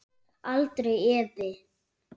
Aldrei efi.